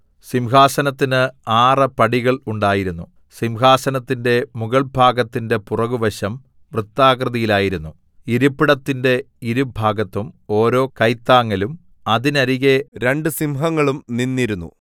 സിംഹാസനത്തിന് ആറ് പടികൾ ഉണ്ടായിരുന്നു സിംഹാസനത്തിന്റെ മുകൾഭാഗത്തിന്റെ പുറകുവശം വൃത്താകൃതിയിലായിരുന്നു ഇരിപ്പിടത്തിന്റെ ഇരുഭാഗത്തും ഓരോ കൈത്താങ്ങലും അതിനരികെ രണ്ട് സിംഹങ്ങളും നിന്നിരുന്നു